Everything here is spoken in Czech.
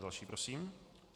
Další prosím.